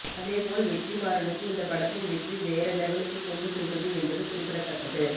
அதேபோல் வெற்றிமாறனுக்கு இந்த படத்தின் வெற்றி வேற லெவலுக்கு கொண்டு சென்றது என்பது குறிப்பிடத்தக்கது